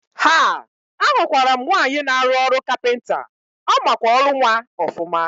Haa! Ahụkwaram nwaanyị na arụ ọrụ kapịnta, ọmakwa ọrụ nwa ọfụma.